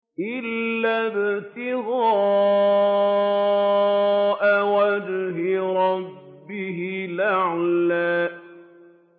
إِلَّا ابْتِغَاءَ وَجْهِ رَبِّهِ الْأَعْلَىٰ